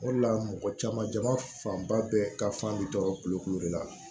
O de la mɔgɔ caman jama fanba bɛɛ ka fan bi tɔɔrɔ kulokulu de la